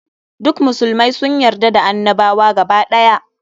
Duk musulmai sun yarda da annabawa gaba ɗaya.